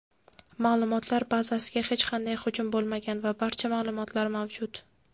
ma’lumotlar bazasiga hech qanday hujum bo‘lmagan va barcha ma’lumotlar mavjud.